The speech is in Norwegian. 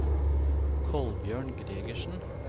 Kolbjørn Gregersen